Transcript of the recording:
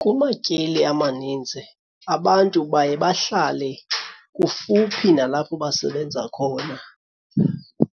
Kumatyeli amaninzi abantu baye bahlale kufuphi nalapho basebenza khona.